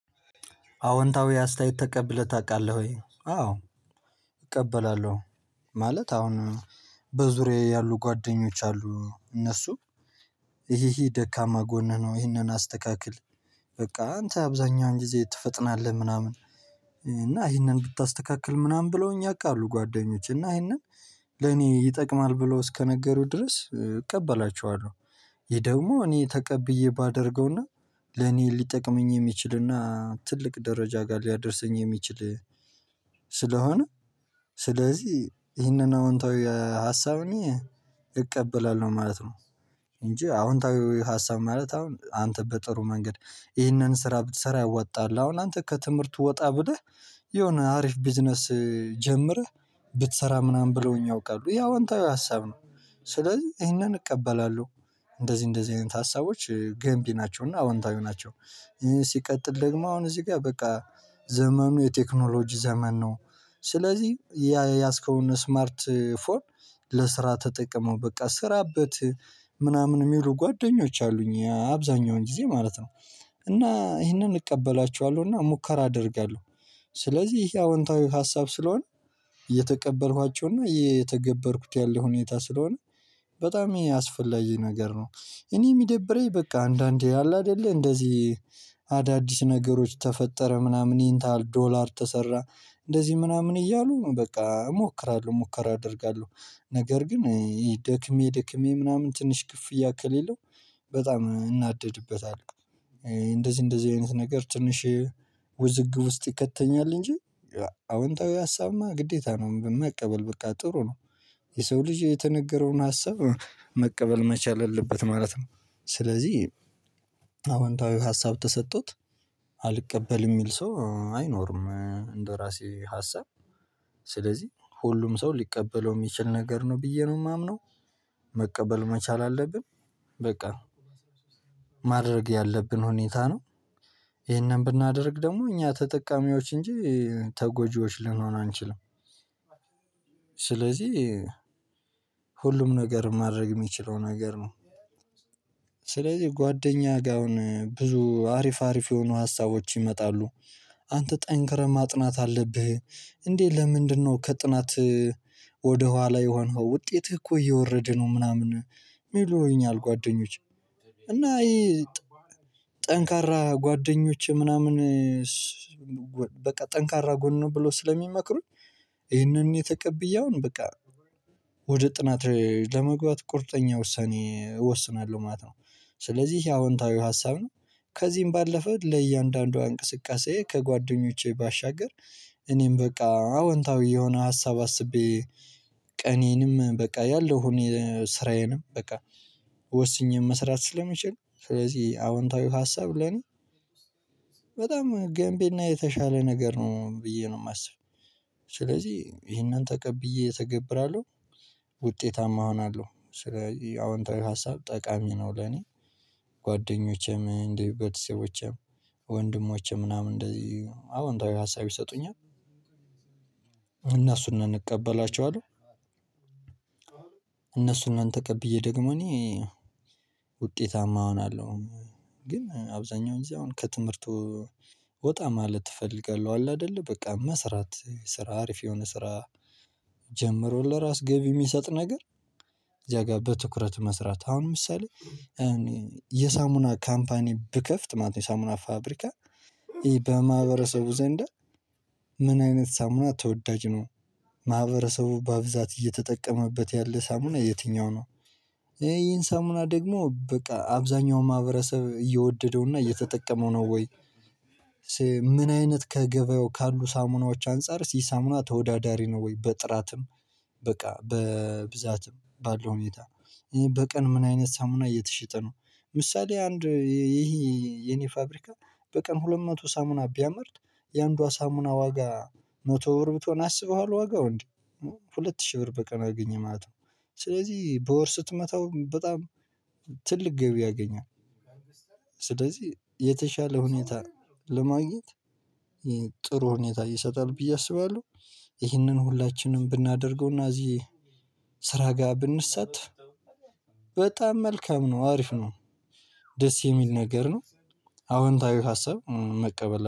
አዎንታዊ አስተያየት ተቀብለህ ታውቃለህ ወይ? አዎ። እቀበላለሁ ማለት አሁን በዙሪያዬ ያሉ ጓደኞች አሉ እነሱ ይሄ ደካማ ጎንህ ነው። ይሄንን አስተካክል በቃ አንተ አብዛኛውን ጊዜ ትፈጥናለህ ምናምን። እና ይህንን ብታስተካክል ምናምን ብለውኝ ያቃሉ ጓደኞች እና ይሄንን ለኔ ይጠቅማል ብለው እስከነገሩት ድረስ እቀበላቸዋለሁ። ይሄ ደግሞ እኔ ተቀብዬ ባደርገውና ለኔ ሊጠቅመኝ የሚችልና ትልቅ ደረጃ ጋር ሊያደርሰኝ የሚችል ስለሆነ ስለዚህ ይህንን አዎንታዊ የሀሳብ ሀሳብን እቀበላለሁ ማለት ነው። እንጂ አዎንታዊ ሀሳብ ማለት አሁን አንተ በጥሩ መንገድ ይህንን ስራ ብትሰራ ያዋጣል። አሁን አንተ ከትምህርት ወጣ ብደህ የሆነ አሪፍ ቢዝነስ ጀምረህ ብትሰራ ምናምን ብለውኝ ያውቃሉ ያ አዎንታዊ ሀሳብ ነው። ስለዚህ ይሄንን እቀበላለሁ እንደዚህ እንደዚህ አይነት ሀሳቦች ገንቢ ናቸው እና አዎንታዊ ናቸው። ሲቀጥል ደግሞ አሁን እዚህ ጋር በቃ ዘመኑ የቴክኖሎጂ ዘመን ነው። ስለዚህ የያዝከውን ስማርት ፎር ለስራ ተጠቅመው በቃ ስራበት ምናምን የሚሉ ጓደኞች አሉኝ አብዛኛውን ጊዜ ማለት ነው። እና ይሄንን እቀበላችኋለሁና ሙከራ አደርጋለሁ። ስለዚህ ይሄ አዎንታዊ ሀሳብ ስለሆነ እየተቀበልኳቸውና የተገበርኩት ያለ ሁኔታ ስለሆነ በጣም ይሄ አስፈላጊ ነገር ነው። እኔ የሚደብረኝ በቃ አንዳንዴ ያለ አይደለ እንደዚህ አዳዲስ ነገሮች ተፈጠረ ምናምን ይህን ታህል ዶላር ተሰራ። እንደዚህ ምናምን እያሉ በቃ እሞክራለሁ ሙከራ አደርጋለሁ። ነገር ግን ይህ ደክሜ ደክሜ ምናምን ትንሽ ክፍያ ከሌለው በጣም እናደድበታለው። እንደዚህ እንደዚህ አይነት ነገር ትንሽ ውዝግብ ውስጥ ይከተኛል እንጂ አወንታዊ ሀሳብማ ግዴታ ነው መቀበል በቃ ጥሩ ነው። የሰው ልጅ የተነገረውን ሀሳብ መቀበል መቻል አለበት ማለት ነው። ስለዚህ አዋንታዊ ሀሳብ ተሰጥቶት አልቀበልም የሚል ሰው አይኖርም። እንደራሴ ሀሳብ ስለዚህ ሁሉም ሰው ሊቀበለው የሚችል ነገር ነው ብዬ ነው የማምነው። መቀበል መቻል አለብን በቃ ማድረግ ያለብን ሁኔታ ነው። ይሄንን ብናደርግ ደግሞ እኛ ተጠቃሚዎች እንጂ ተጎጂዎች ልንሆን አንችልም። ስለዚህ ሁሉም ነገር ማድረግ የሚችለው ነገር ነው። ስለዚህ ጓደኛ ጋር አሁን ብዙ አሪፍ አሪፍ የሆኑ ሀሳቦች ይመጣሉ። አንተ ጠንክረህ ማጥናት አለብህ። እንዴ ለምንድነው? ከጥናትህ ወደ ኋላ የሆንኸው ውጤትህ እኮ እየወረደ ነው። ምናምን ይሉኛል ጓደኞች እና ጠንካራ ጓደኞቼ ምናምን በቃ ጠንካራ ጎን ነው ብሎ ስለሚመክሩኝ ይሄንን የተቀበለውን በቃ ወደ ጥናት ለመግባት ቁርጠኛ ውሳኔ እወስናለሁ ማለት ነው። ስለዚህ ያው አዎንታዊ ሀሳብ ነው። ከዚህም ባለፈ ለእያንዳንዷ እንቅስቃሴ ከጓደኞቼ ባሻገር እኔም በቃ አዎንታዊ የሆነ ሀሳብ አስቤ ቀኔንም በቃ ያለው እኔ ስራዬንም በቃ ወስኜም መስራት ስለሚችል። ስለዚህ አዎንታዊ ሀሳብ ለኔ በጣም ገንቢ እና የተሻለ ነገር ነው ብዬ ነው የማስበው። ስለዚህ ይሄንን ተቀብዬ ተገብራለሁ። ውጤታማ እሆናለሁ ስለዚህ አዎንተ ሀሳብ ጠቃሚ ነው ለኔ። ጓደኞቼም እንደ ቤተሰቦቼም ወንድሞቼም ምናምን እንደዚህ አዎ አንተ ሀሳብ ይሰጡኛል። እነሱንም እንቀበላቸዋለን ማን ተቀብዬ ደግሞ እኔ ውጤታማ እሆናለሁ። ግን አብዛኛው ጊዜ አሁን ከትምህርቱ ወጣ ማለት ትፈልጋለህ አለ። አይደለ በቃ መስራት ስራ አሪፍ የሆነ ስራ። ጀምሮ ለራስ ገቢ የሚሰጥ ነገር። እዚያ ጋር በትኩረት መስራት አሁን ምሳሌ መሰለህ የሳሙና ካምፓኒ ብከፍት ማለት ነው። የሳሙና ፋብሪካ በማህበረሰቡ ዘንድ ምን አይነት ሳሙና ተወዳጅ ነው? ማህበረሰቡ በአብዛት እየተጠቀመበት ያለ ሳሙና የትኛው ነው? ይህን ሳሙና ደግሞ በቃ አብዛኛው ማህበረሰብ እየወደደውና እየተጠቀመው ነው ወይ? ምን አይነት ከገበያው ካሉ ሳሙናዎች አንፃር ሲሳሙና ተወዳዳሪ ነው ወይ? በጥራትም በቃ በብዛትም ባለው ሁኔታ ይሄ በቀን ምን አይነት ሳምና እየተሸጠ ነው። ምሳሌ አንድ ይሄ የኔ ፋብሪካ በቀን ሁለት መቶ ሳሙና ቢያመርት የአንዷ ሳሙና ዋጋ ሞቶ ብር ብትሆን አስበዋል ዋጋው እንዴ ሁለት ሺህ ብር በቀን አግኝማት ነው። ስለዚህ በወር ስትመታው በጣም ትልቅ ገቢ ያገኛል። ስለዚህ የተሻለ ሁኔታ ለማግኘት ጥሩ ሁኔታ ይሰጣል ብዬ አስባለሁ። ይህንን ሁላችንም ብናደርገውና እዚህ ስራ ጋር ብንሳተፍ በጣም መልካም ነው አሪፍ ነው። ደስ የሚል ነገር ነው። አዎንታዊ ሀሳብ መቀበል